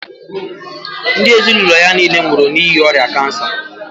Ndị ezinụlọ ya niile nwụrụ n'ihi ọrịa cancer.